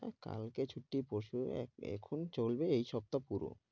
না কালকে ছুটি পরশু এ~ এখন চলবে এই সপ্তাহ পুরো।